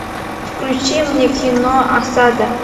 включи мне кино осада